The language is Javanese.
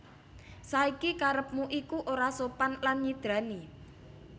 Saiki karepmu iku ora sopan lan nyidrani